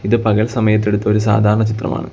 ഇത് പകൽ സമയത്ത് എടുത്ത ഒരു സാധാരണ ചിത്രമാണ്.